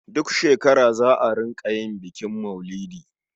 Duk shekara za a rƙa yin bukin maulidi.